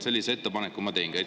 Sellise ettepaneku ma teengi.